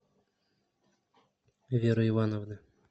веры ивановны